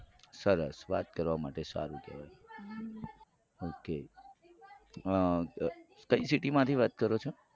સરસ વાત કરવા માટે સારું કેવાય હમ તમે કઈ city માંથી વાત કરો છો.